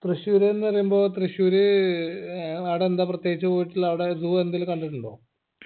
തൃശ്ശൂര് ന്ന് പറയുമ്പോ തൃശ്ശൂര് ഏർ ആടെന്താ പ്രത്യേകിച്ച് പോയിട്ടുള്ളെ അവിടെ zoo എന്തേലും കണ്ടിട്ടുണ്ടോ